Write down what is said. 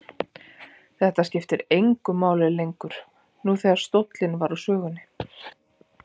Þetta skipti engu máli lengur nú þegar stóllinn var úr sögunni.